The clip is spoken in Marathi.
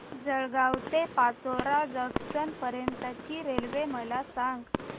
जळगाव ते पाचोरा जंक्शन पर्यंतची रेल्वे मला सांग